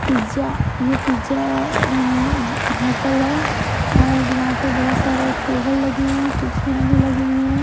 Pizza ये pizza अ अ होटल है और यहाँ पे बहुत सारे टेबल लगे हुए हैं कुर्सियां लगी हुई है।